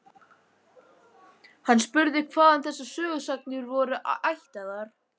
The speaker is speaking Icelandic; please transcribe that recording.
Hann spurði hvaðan þessar sögusagnir væru ættaðar.